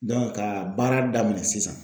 ka baara daminɛ sisan.